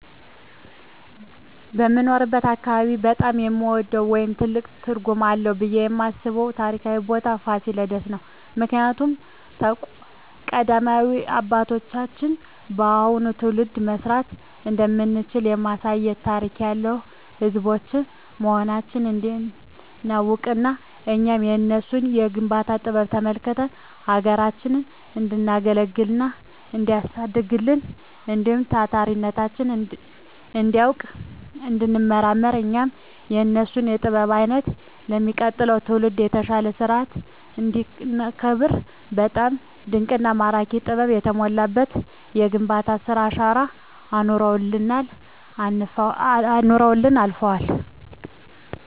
በምኖርበት አካባቢ በጣም የምወደው ወይም ትልቅ ትርጉም አለዉ ብየ የማስበው ታሪካዊ ቦታ ፋሲለደስ ነው። ምክንያቱም ቀደምት አባቶቻችን ለአሁኑ ትውልድ መስራት እንደምንችል ለማሳየት ታሪክ ያለን ህዝቦች መሆናችንን እንዲናውቅና እኛም የነሱን የግንባታ ጥበብ ተመልክተን ሀገራችንን እንዲናገለግልና እንዲናሳድግ እንዲሁም ታሪካችንን እንዲናውቅ እንዲንመራመር እኛም የነሱን ጥበብ አይተን ለሚቀጥለው ትውልድ የተሻለ ሰርተን እንዲናስረክብ በጣም ድንቅና ማራኪ ጥበብ የተሞላበት የግንባታ ስራ አሻራ አኑረውልን አልፈዋል።